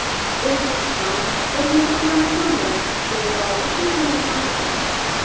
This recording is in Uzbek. O‘zbekiston qo‘shni Turkmaniston bilan chegaraoldi hududlarini almashadi.